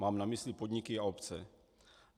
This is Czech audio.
Mám na mysli podniky a obce.